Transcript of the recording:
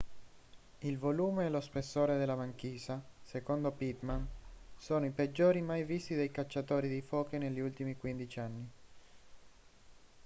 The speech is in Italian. il volume e lo spessore della banchisa secondo pittman sono i peggiori mai visti dai cacciatori di foche negli ultimi 15 anni